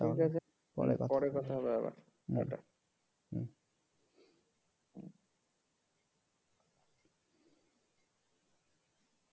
ঠিক আছে পরে পরে কথা হবে আবার হম tata